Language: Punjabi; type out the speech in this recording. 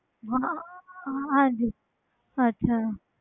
ਹਾਂ ਹਾਂਜੀ ਅੱਛਾ